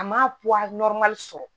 A ma sɔrɔ